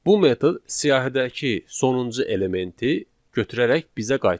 Bu metod siyahıdakı sonuncu elementi götürərək bizə qaytarır.